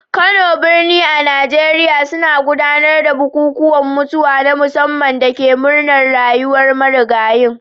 Kano, birni a Najeriya, suna gudanar da bukukuwan mutuwa na musamman da ke murnar rayuwar marigayin.